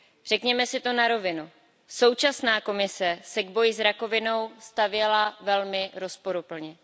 Řekněme si to na rovinu, současná Komise se k boji s rakovinou stavěla velmi rozporuplně.